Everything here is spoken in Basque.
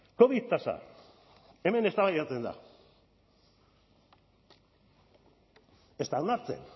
covid tasa hemen eztabaidatzen da ez da onartzen